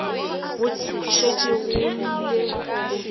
go šetše go llile le